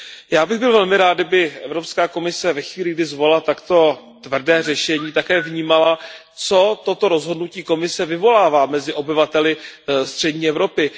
Já bych byl velmi rád, kdyby Evropská komise ve chvíli, kdy zvolila takto tvrdé řešení, také vnímala, co toto rozhodnutí Komise vyvolává mezi obyvateli střední Evropy.